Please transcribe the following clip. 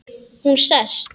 Hún sest.